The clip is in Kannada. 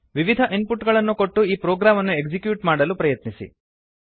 ವಿವಿಧ ಇನ್ಪುಟ್ ಗಳನ್ನು ಕೊಟ್ಟು ಈ ಪ್ರೊಗ್ರಾಮ್ ಅನ್ನು ಎಕ್ಸಿಕ್ಯೂಟ್ ಮಾಡಲು ಪ್ರಯತ್ನಿಸಿ